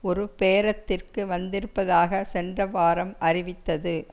ஒரு பேரத்திற்கு வந்திருப்பதாக சென்ற வாரம் அறிவித்தது